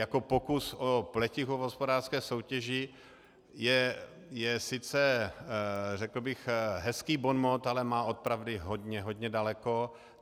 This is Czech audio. Jako pokus o pletichu v hospodářské soutěži je sice, řekl bych, hezký bonmot, ale má od pravdy hodně, hodně daleko.